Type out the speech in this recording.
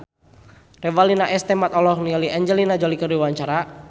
Revalina S. Temat olohok ningali Angelina Jolie keur diwawancara